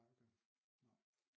Nej okay nej